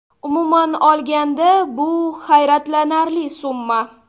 Umuman olganda bu hayratlanarli summa.